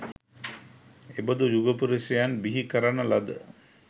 එබඳු යුග පුරුෂයන් බිහිකරන ලද